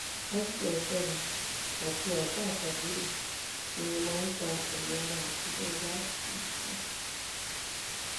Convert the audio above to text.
pásítọ fẹmi àti àáfáà kábírú ni mo máa ń ta ẹyà ara òkú tí mo bá hù fún